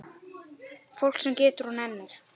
Fólk sem getur og nennir.